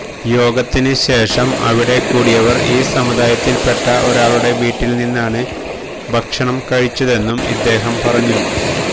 യോഗത്തിന് ശേഷം അവിടെ കൂടിയവര് ഈ സമുദായത്തില്പ്പെട്ട ഒരാളുടെ വീട്ടില് നിന്നാണ് ഭക്ഷണം കഴിച്ചതെന്നും ഇദ്ദേഹം പറഞ്ഞു